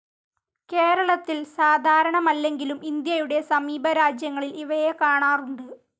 കേരളത്തിൽ സാധാരണമല്ലങ്കിലും ഇന്ത്യയുടെ സമീപ രാജ്യങ്ങളിൽ ഇവയെ കാണാറുണ്ട്.